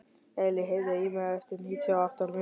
Elí, heyrðu í mér eftir níutíu og átta mínútur.